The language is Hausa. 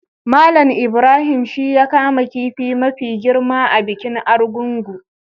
Mallam Ibrahim shi ya kama kifi mafi girma a bikin Argungu.